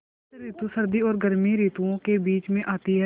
बसंत रितु सर्दी और गर्मी रितुवो के बीच मे आती हैँ